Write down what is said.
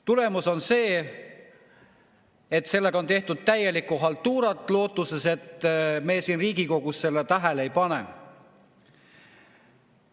Tulemus on see, et sellega on tehtud täielikku haltuurat, lootuses, et me siin Riigikogus seda tähele ei pane.